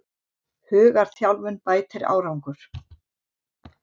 Hugarþjálfun bætir árangur